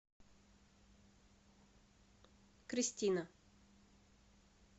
кристина